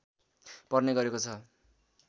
पर्ने गरेको छ